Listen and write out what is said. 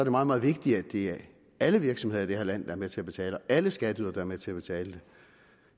meget meget vigtigt at det er alle virksomheder i det her land der er med til at betale alle skatteydere der er med til at betale vil